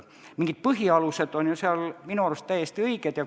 Mingid põhialused on seal minu arust täiesti õiged.